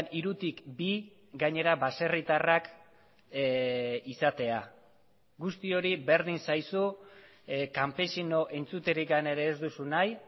hirutik bi gainera baserritarrak izatea guzti hori berdin zaizu kanpesino entzuterik ere ez duzu nahi